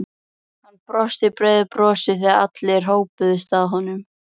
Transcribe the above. Hann brosti breiðu brosi þegar allir hópuðust að honum.